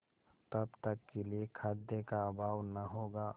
तब तक के लिए खाद्य का अभाव न होगा